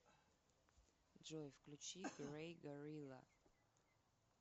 джой включи грей горилла